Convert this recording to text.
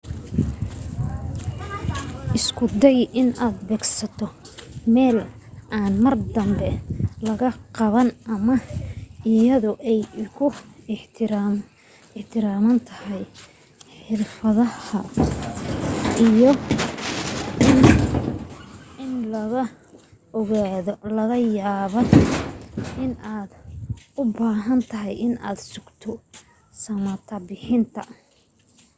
isku day inaad beegsato meel aan mar dambe lagaa qaban ama iyadoo ay ku xirantahay xirfadaada iyo in lagu ogaaday laga yaabaa inaad ubaahantahay in aad sugto samata-bixinta